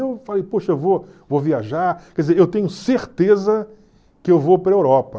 E eu falei, poxa, eu vou vou viajar, quer dizer, eu tenho certeza que eu vou para a Europa.